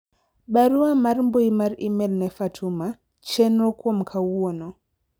barua mar mbui mar email ne Fatuma, chenro kuom kawuono